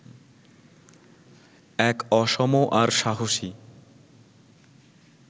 এক অসম আর সাহসী